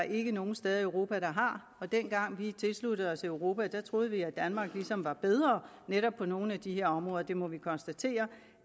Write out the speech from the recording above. ikke nogen steder i europa der har dengang vi tilsluttede os europa troede vi at danmark ligesom var bedre netop nogle af de her områder det må vi konstatere